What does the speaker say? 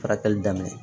Fara kɛli daminɛ